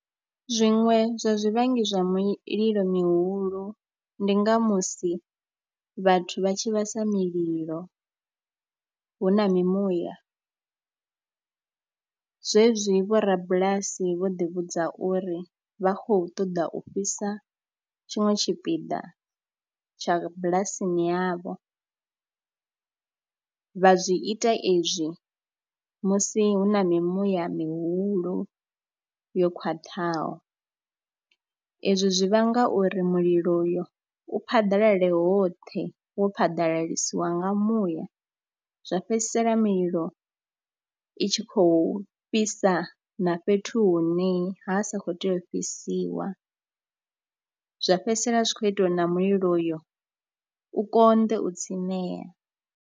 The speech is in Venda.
Zwiṅwe zwa zwivhangi zwa mililo mihulu ndi nga musi vhathu vha tshi vhasa mililo hu na mimuya zwezwi vhorabulasi vho ḓivhudza uri vha khou ṱoḓa u fhisa tshinwe tshipiḓa tsha bulasini yavho, vha zwi ita ezwi musi hu na mimuya mihulu yo khwaṱhaho. Ezwi zwi vhanga uri mulilo uyo u phaḓalale hoṱhe wo phaḓalalisiwa nga muya, zwa fhedzisela mililo i tshi khou fhisa na fhethu hune ha sa khou tea u fhisiwa, zwa fhedzisela zwi khou itiwa uri na mulilo uyo u konḓe u tsimea.